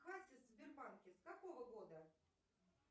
кассы в сбербанке с какого года